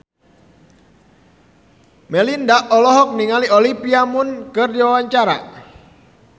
Melinda olohok ningali Olivia Munn keur diwawancara